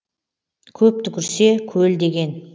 көп түкірсе көл деген